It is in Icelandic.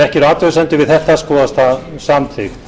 ekki eru athugasemdir við þetta skoðast það samþykkt